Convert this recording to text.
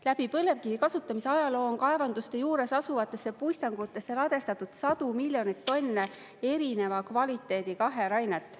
Läbi põlevkivi kasutamise ajaloo on kaevanduste juures asuvatesse puistangutesse ladestatud sadu miljoneid tonne erineva kvaliteediga aherainet.